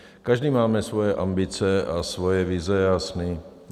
Každý máme svoje ambice a svoje vize a sny.